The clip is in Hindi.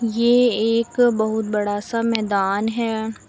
ये एक बहुत बड़ा सा मैदान है।